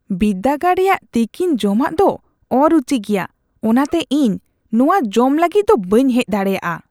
ᱵᱤᱨᱫᱟᱹᱜᱟᱲ ᱨᱮᱭᱟᱜ ᱛᱤᱠᱤᱱ ᱡᱚᱢᱟᱜ ᱫᱚ ᱚᱼᱨᱩᱪᱤᱜᱮᱭᱟ; ᱚᱱᱟᱛᱮ ᱤᱧ ᱱᱚᱶᱟ ᱡᱚᱢ ᱞᱟᱹᱜᱤᱫ ᱫᱚ ᱵᱟᱹᱧ ᱦᱮᱡ ᱫᱟᱲᱮᱭᱟᱜᱼᱟ ᱾